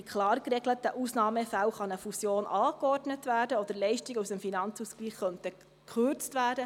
In klar geregelten Ausnahmefällen kann eine Fusion angeordnet oder könnten Leistungen aus dem Finanzausgleich gekürzt werden.